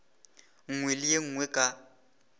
nngwe le ye nngwe ka